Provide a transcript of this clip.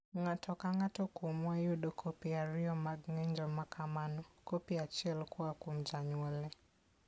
Ng'ato ka ng'ato kuomwa yudo kopi ariyo mag ng'injo ma kamano, kopi achiel koa kuom janyuolne.